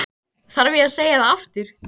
Hann veit ekki hvað Húnaver er!